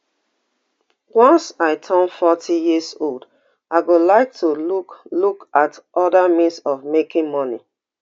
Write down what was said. once i turn forty years old i go like to look look at oda means of making money